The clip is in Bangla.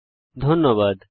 অংশগ্রহনের জন্য ধন্যবাদ